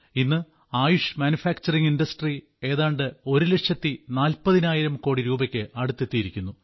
ഇന്ന് ആയുഷ് നിർമ്മാണ വ്യവസായം ഏതാണ്ട് ഒരുലക്ഷത്തി നാൽപ്പതിനായിരം കോടി രൂപയ്ക്ക് അടുത്തെത്തിയിരിക്കുന്നു